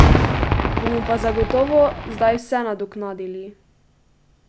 Bomo pa zagotovo zdaj vse nadoknadili!